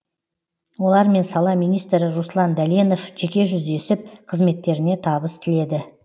олармен сала министрі руслан дәленов жеке жүздесіп қызметтеріне табыс тіледі